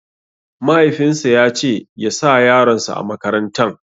Mahaifin sa yace ya sa yaron sa a makaratan